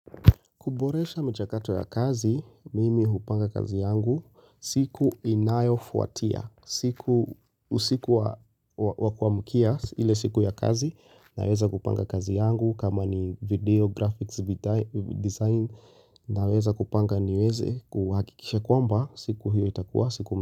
Kuboresha michakato ya kazi, mimi hupanga kazi yangu. Siku inayo fuatia. Siku usiku wa kuamkia ile siku ya kazi. Naweza kupanga kazi yangu kama ni video, graphics, design. Naweza kupanga niweze kuhakikisha kwamba. Siku hiyo itakua.